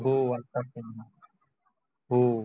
हो असच आहेन हो